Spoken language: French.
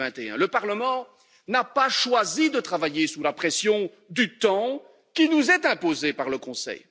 2021. Le Parlement n'a pas choisi de travailler sous la pression du temps qui nous est imposée par le Conseil.